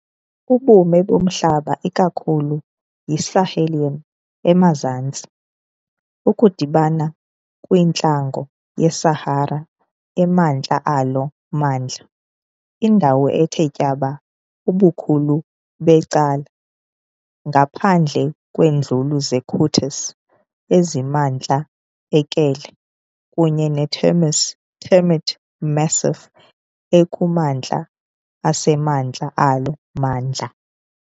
Ubume bomhlaba ikakhulu yiSahelian emazantsi, Ukudibana kwintlango yeSahara emantla alo mmandla. Indawo ithe tyaba ubukhulu becala, ngaphandle kweeNduli zeKoutous, ezisemantla eKelle, kunye netermis Termit Massif ekumantla asemantla alo mmandla.